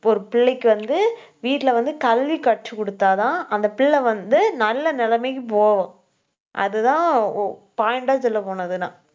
இப்ப ஒரு பிள்ளைக்கு வந்து வீட்டுல வந்து கல்வி கற்றுக் கொடுத்தாதான், அந்த பிள்ளை வந்து நல்ல நிலைமைக்கு போகும். அதுதான் ஒ point ஆ சொல்லப் போனதுனா